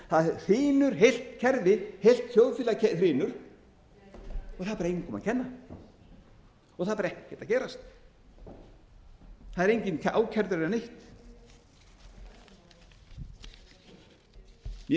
það hrynur heilt kerfi heilt þjóðfélag hrynur og það er bara engum að kenna og það er ekkert að gerast það er enginn ákærður eða neitt mér